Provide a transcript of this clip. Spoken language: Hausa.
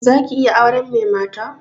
Za ki iya auren mai mata?